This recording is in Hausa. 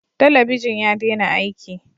Talabijin ya dena aiki